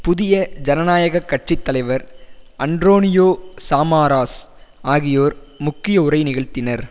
புதிய ஜனநாயக கட்சி தலைவர் அன்ரோனியோ சாமாராஸ் ஆகியோர் முக்கிய உரை நிகழ்த்தினர்